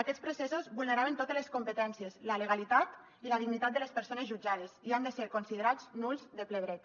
aquests processos vulneraven totes les competències la legalitat i la dignitat de les persones jutjades i han de ser considerats nuls de ple dret